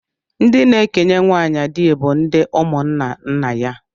Ndị na-ekenye nwaanyị di bụ ndị ụmụnna nna ya